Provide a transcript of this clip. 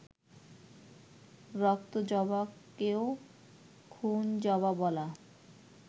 ‘রক্তজবা’কেও ‘খুনজবা’ বলা